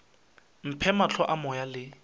mphe mahlo a moya le